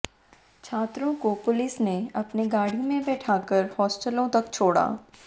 छात्रों को पुलिस ने अपनी गाड़ी में बैठाकर हॉस्टलों तक छोड़ा